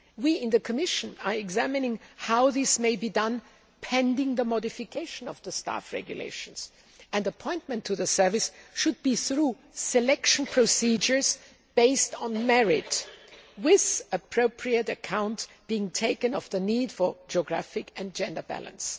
We in the Commission are examining how this may be done pending the modification of the Staff Regulations, and appointment to the service should be through selection procedures based on merit, with appropriate account being taken of the need for a geographic and gender balance.